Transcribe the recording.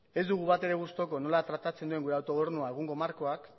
ez dugu batere gustuko nola tratatzen duen gure autogobernua egungo markoak